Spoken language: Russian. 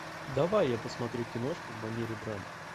давай я посмотрю киношку в манере драмы